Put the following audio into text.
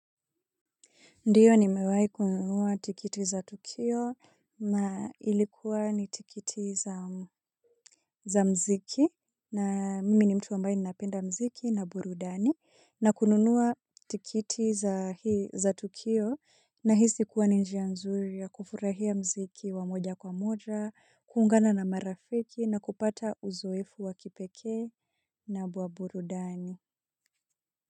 Ndiyo nimewahi kununua tiketi za Tukio na ilikuwa ni tiketi za muziki na mimi ni mtu ambaye ninapenda muziki na burudani na kununua tiketi za hii za Tukio nahisi kuwa ni njia nzuri ya kufurahia muziki wa moja kwa moja, kuungana na marafiki na kupata uzoefu wa kipekee na bua burudani.